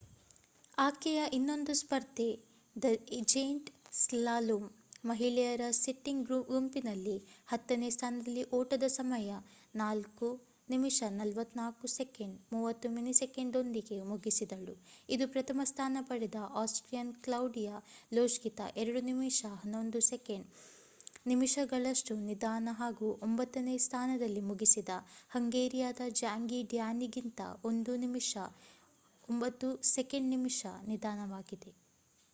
ಆಕೆಯ ಇನ್ನೊಂದು ಸ್ಪರ್ಧೆ ದ ಜೇಂಟ್ ಸ್ಲಾಲೋಮ್ ಮಹಿಳೆಯರ ಸಿಟ್ಟಿಂಗ್ ಗುಂಪಿನಲ್ಲಿ ಹತ್ತನೇ ಸ್ಥಾನದಲ್ಲಿ ಓಟದ ಸಮಯ 4:41.30 ದೊಂದಿಗೆ ಮುಗಿಸಿದಳು ಇದು ಪ್ರಥಮ ಸ್ಥಾನ ಪಡೆದ ಆಸ್ಟ್ರಿಯನ್ ಕ್ಲೌಡಿಯಾ ಲೊಶ್ಗಿಂತ 2:11.60 ನಿಮಿಷಗಳಷ್ಟು ನಿಧಾನ ಹಾಗೂ ಒಂಬತ್ತನೇ ಸ್ಥಾನದಲ್ಲಿ ಮುಗಿಸಿದ ಹಂಗೇರಿಯಾದ ಜ್ಯಾಂಗಿ ಡ್ಯಾನಿಕ್ಕಿಂತ 1:09.02 ನಿಮಿಷ ನಿಧಾನವಾಗಿದೆ